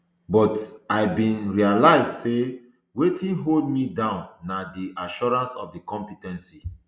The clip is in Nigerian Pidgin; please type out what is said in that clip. but i bin realise say wetin hold me down na di assurance of compe ten ce